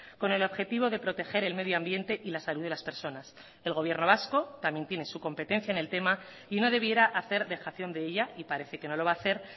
con el objetivo de proteger el medio ambiente y la salud de las personas el gobierno vasco también tiene su competencia en el tema y no debiera hacer dejación de ella y parece que no lo va a hacer